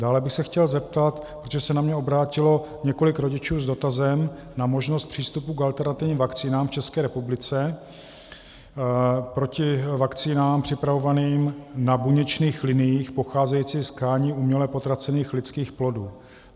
Dále bych se chtěl zeptat, protože se na mě obrátilo několik rodičů s dotazem na možnost přístupu k alternativním vakcínám v České republice proti vakcínám připravovaným na buněčných liniích pocházejícím z tkání uměle potracených lidských plodů.